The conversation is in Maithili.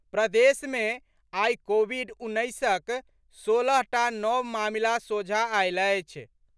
प्रदेशमे आइ कोविड उन्नैसक, सोलहटा नव मामिला सोझा आयल अछि।